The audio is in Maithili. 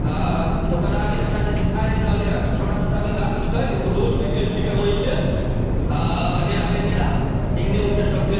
आ ओकर आगे हमरा जे दिखा दे रहले हैन छोटा-छोटा भी गाछ छिके एगो रोड भी गेल छीके वहीं से आ अगेरा-वगेरा इने-उने सब गेल --